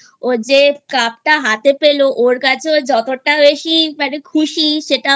যে Cup টা হাতে পেল ওর কাছেও যতটা বেশি মানে খুশি সেটাও সবারই